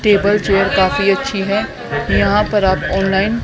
table chair काफी अच्छी है यहां पर आप ऑनलाइन --